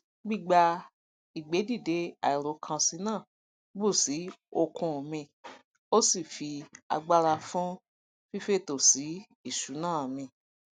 gbígba ìgbé dìde àìròkànsí náà bù sí ookun mi ósi fi agbára fún fífètò sí ìṣúná mi